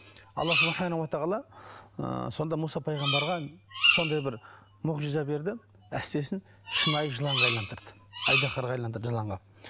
алла ыыы сонда мұса пайғамбарға сондай бір мұғжиза берді әстесін шынайы жыланға айналдырды айдаһарға айналдырды жыланға